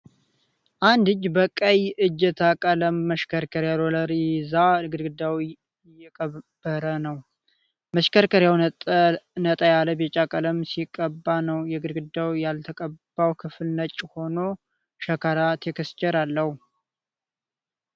አንድ እጅ በቀይ እጀታ ቀለም መሽከርከሪያ (ሮለር) ይዞ ግድግዳ አየቀረበ ነው። መሽከርከሪያው ነጣ ያለ ቢጫ ቀለም ሲቀባ ነው። የግድግዳው ያልተቀባው ክፍል ነጭ ሆኖ ሸካራ (ቴክስቸር) አለው።